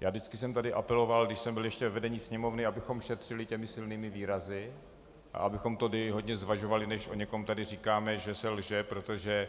Já vždycky jsem tady apeloval, když jsem byl ještě ve vedení Sněmovny, abychom šetřili těmi silnými výrazy a abychom tady hodně zvažovali, než o někom tady říkáme, že se lže, protože